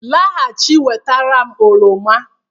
Laghachi wetara m oroma